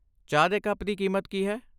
ਚਾਹ ਦੇ ਕੱਪ ਦੀ ਕੀਮਤ ਕੀ ਹੈ?